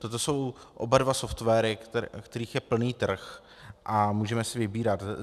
Toto jsou oba dva softwary, kterých je plný trh, a můžeme si vybírat.